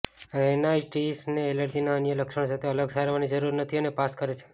રૅનાઇટિસને એલર્જીના અન્ય લક્ષણો સાથે અલગ સારવારની જરૂર નથી અને પાસ કરે છે